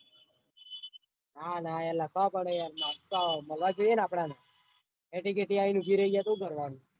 ના ના યાર લખવા પડે marks મળવા જોઈએ ને આપદોને એટી કેટી આઈને ઉભી રાય જાય તો હું કરવાનું?